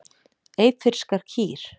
Eyfirskar kýr.